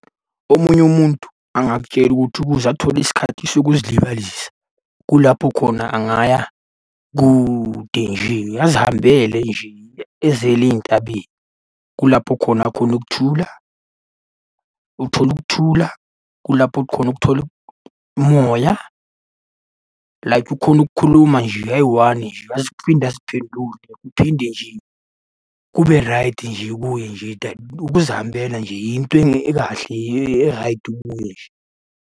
Omunye umuntu angakutshela ukuthi ukuze athole isikhathi sokuzilibazisa. Kulapho khona angaya kude nje, azihambele nje eziyele ey'ntabeni. Kulapho khona akhona ukuthula. Uthola ukuthula, kulapho khona ukuthola umoya, like ukhone ukukhuluma nje eyi-one nje aphinde aziphendule kuphinde nje kube raydi nje kuye nje ukuzihambela nje into ekahle eraydi kuye nje.